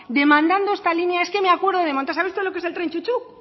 demandando esta línea es que me acuerdo de montar sabe usted lo que es el tren chu chu